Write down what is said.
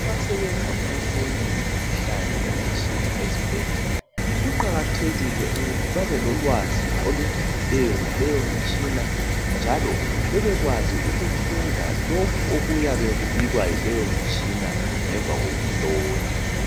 Abasebenza ukuhlola imikhuhlane ngemitshina ezibhedlela kuqakathekile ukuthi babelolwazi olujulileyo ngaleyo mitshina njalo bebekwazi ukufunda lokhu okuyabe kubikwa yileyo mitshina ngemva kokuhlola.